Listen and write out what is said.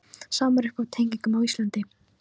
Sama er uppi á teningnum á Íslandi